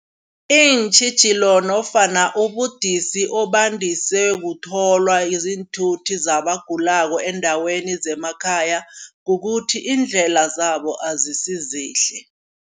Iintjhijilo nofana ubudisi obandise kutholwa ziinthuthi zabagulako eendaweni zemakhaya. Kukuthi iindlela zabo azisizihle.